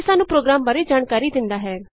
ਇਹ ਸਾਨੂੰ ਪ੍ਰੋਗਰਾਮ ਬਾਰੇ ਜਾਣਕਾਰੀ ਦਿੰਦਾ ਹੈ